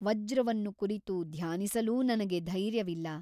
ವಜ್ರವನ್ನು ಕುರಿತು ಧ್ಯಾನಿಸಲೂ ನನಗೆ ಧೈರ್ಯವಿಲ್ಲ.